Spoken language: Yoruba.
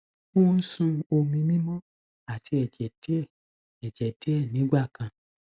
o ń sun omi mímọ àti ẹjẹ díẹ ẹjẹ díẹ nígbà kan